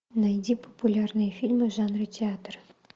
найди популярные фильмы в жанре театр